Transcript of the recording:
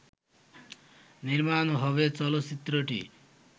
নির্মাণ হবে চলচ্চিত্রটি